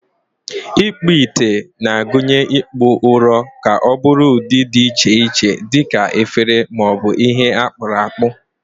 Ikpu ite na-agụnye ịkpụ ụrọ ka ọ bụrụ ụdị dị iche iche dị ka efere ma ọ bụ ihe akpuru akpu.